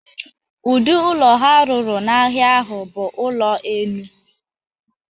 Ụdị ụlọ ha rụrụ n'ahịa ahụ bụ ụlọ enu.